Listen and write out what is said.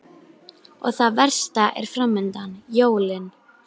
Og það versta er framundan: jólin.